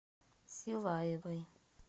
силаевой